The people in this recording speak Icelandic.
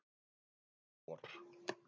Um vor.